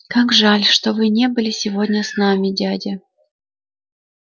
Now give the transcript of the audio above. как жаль что вы не были сегодня с нами дядя